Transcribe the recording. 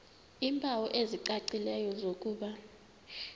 iimpawu ezicacileyo zokuba